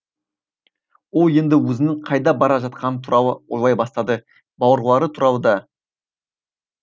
ол енді өзінің қайда бара жатқаны туралы ойлай бастады бауырлары туралы да